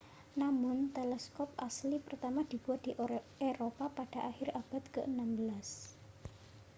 namun teleskop asli pertama dibuat di eropa pada akhir abad ke-16